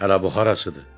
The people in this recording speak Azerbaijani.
Hələ bu harasıdır?